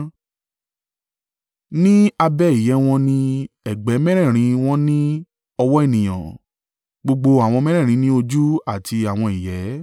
Ní abẹ́ ìyẹ́ wọn ní ẹ̀gbẹ́ mẹ́rẹ̀ẹ̀rin wọn ní ọwọ́ ènìyàn. Gbogbo àwọn mẹ́rẹ̀ẹ̀rin ní ojú àti àwọn ìyẹ́,